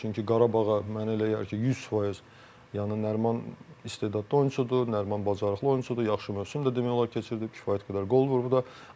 Çünki Qarabağa mənə elə gəlir ki, 100% yəni Nəriman istedadlı oyunçudur, Nəriman bacarıqlı oyunçudur, yaxşı mövsüm də demək olar keçirdib, kifayət qədər qol vurub da.